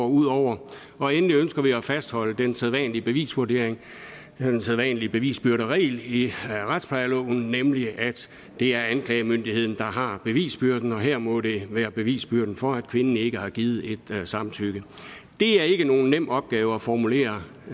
ud over og endelig ønsker vi at fastholde den sædvanlige bevisvurdering den sædvanlige bevisbyrderegel i retsplejeloven nemlig at det er anklagemyndigheden der har bevisbyrden og her må det være bevisbyrden for at kvinden ikke har givet et samtykke det er ikke nogen nem opgave at formulere